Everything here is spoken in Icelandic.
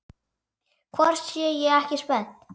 Hvort ég sé ekki spennt?